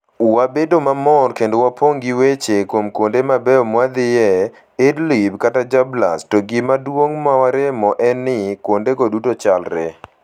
Wabedo mamor kendo wapong' gi weche kuom kuonde mabeyo mwadhiye, Idlib kata Jarablus... to gima duong' ma waremo en ni: kuondego duto chalre!